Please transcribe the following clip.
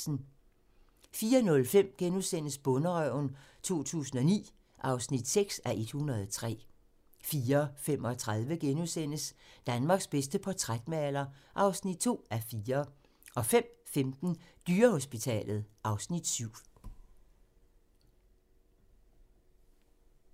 04:05: Bonderøven 2009 (6:103)* 04:35: Danmarks bedste portrætmaler (2:4)* 05:15: Dyrehospitalet (Afs. 7)